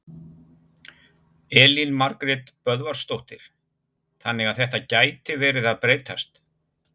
Elín Margrét Böðvarsdóttir: Þannig að þetta gæti verið að breytast?